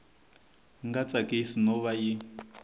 nga tsakisi no va yi